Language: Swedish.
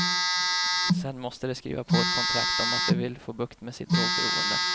Sedan måste de skriva på ett kontrakt om att de vill få bukt med sitt drogberoende.